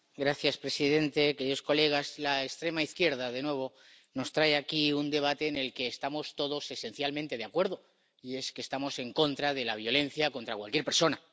Señora presidenta, señorías, la extrema izquierda, de nuevo, nos trae aquí un debate en el que estamos todos esencialmente de acuerdo, y es que estamos en contra de la violencia contra cualquier persona.